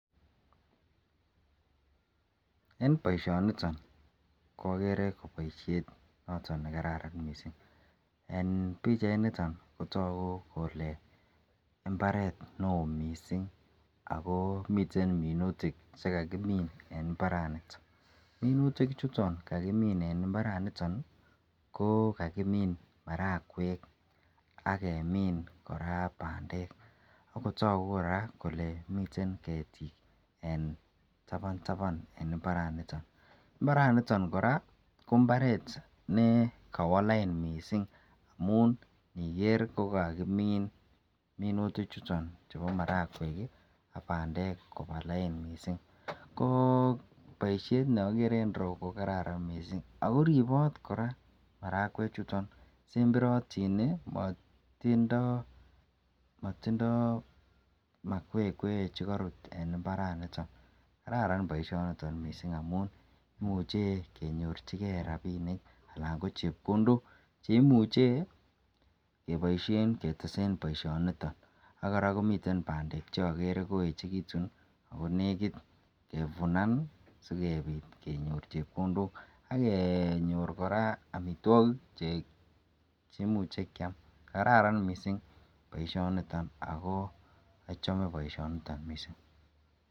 En baishoni agere baishet nekararan mising en bichait niton kotagu Kole imbaret neon mising akomiten minutik chekakimin en imbariton ako minutik chuton kakimin en imbar kokakimin marakwek akemin koraa bandek akotaku koraa Kole miten ketik en taban taban en imbaret niton imbaraniton koraa ko mbaret nekawaa lain mising amun Niger kokamin minutik chuton ko marakwek bandek Koba lain mising ko baishet neagere en ireyu ko baishet NE kararan mising ako robot koraa marakwek ako semberatin ako matindoi make kwe en imbaraniton kararan baishoniton mising amun imuche kenyorchigei rabinik ako chepkondok cheimuche kotesen baisho niton akoraa miten bandek cheagere koechekitun ako nekit kevunan sikobit kenyor chepkondok agenyor amitwagik cheimuche Kiam akokararan baishoni en kokwatinwek ako achame baishet noton.